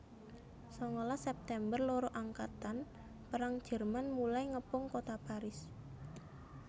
Sangalas September loro angkatan perang Jerman mulai ngepung kota Paris